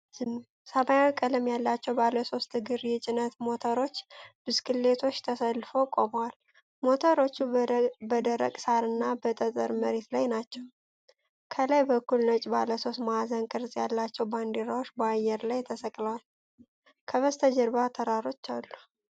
ሰማያዊ ቀለም ያላቸው ባለሶስት እግር የጭነት ሞተር ብስክሌቶች ተሰልፈው ቆመዋል። ሞተሮቹ በደረቅ ሣርና በጠጠር መሬት ላይ ናቸው። ከላይ በኩል ነጭ ባለሦስት ማዕዘን ቅርጽ ያላቸው ባንዲራዎች በአየር ላይ ተሰቅለዋል። ከበስተጀርባው ተራሮች አሉ።